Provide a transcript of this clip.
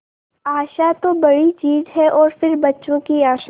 आशा तो बड़ी चीज है और फिर बच्चों की आशा